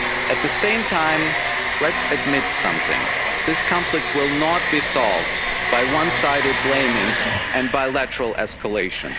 At the same time, let's admit something this conflict will not be solved by one sided blaming or bilateral escalation.